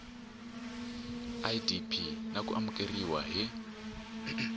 idp na ku amukeriwa hi